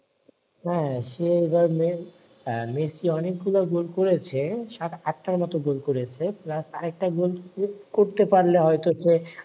হ্যাঁ সে এবার মে আহ ম্যাসি অনেক গুলা গোল করেছে সাট আটার মত গোল করেছে plus আরেকটা গোল করতে পারলে হয়তো